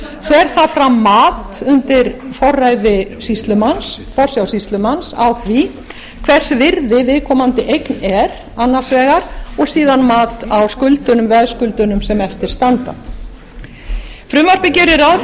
fer það fram mat undir forsjá sýslumann á því hvers virði viðkomandi eign er annars vegar og síðan mat á veðskuldunum sem eftir standa frumvarpið gerir ráð